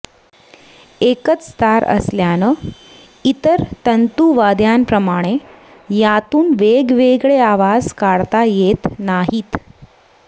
एकच तार असल्यानं इतर तंतुवाद्यांप्रमाणे यातून वेगवेगळे आवाज काढता येत नाहीत